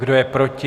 Kdo je proti?